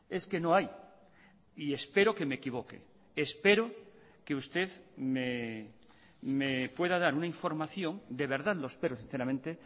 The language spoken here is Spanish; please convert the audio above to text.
es que no hay y espero que me equivoque espero que usted me pueda dar una información de verdad lo espero sinceramente